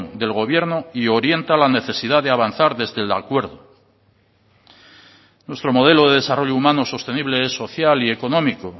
del gobierno y orienta la necesidad de avanzar desde el acuerdo nuestro modelo de desarrollo humano sostenible es social y económico